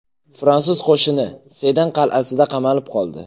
Fransuz qo‘shini Sedan qal’asida qamalib qoldi.